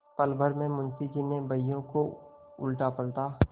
पलभर में मुंशी जी ने बहियों को उलटापलटा